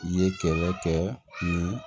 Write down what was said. I ye kɛlɛ kɛ ni